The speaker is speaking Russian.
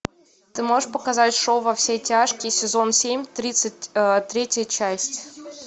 ты можешь показать шоу во все тяжкие сезон семь тридцать третья часть